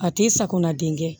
A ti sakana denkɛ